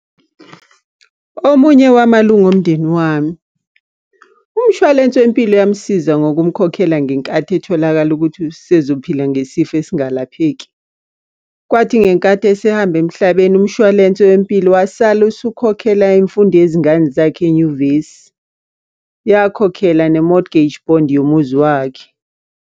Omunye wamalunga omndeni wami. Umshwalense wempilo yamsiza ngokumkhokhela ngenkathi etholakala ukuthi usezophila ngesifo esingalapheki. Kwathi ngenkathi esehamba emhlabeni umshwalense wempilo wasale usukhokhela imfundo yezingane zakhe enyuvesi. Yakhokhela ne-mortgage bond yomuzi wakhe.